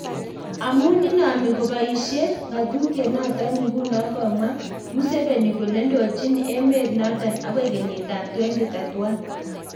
Amun inami kobaisie ngatutiet noton nguno, komwa Museveni kole ndochin emet noton agoi kenyit ab 2031